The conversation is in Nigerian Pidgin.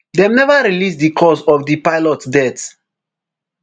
dem neva release di cause of di pilot death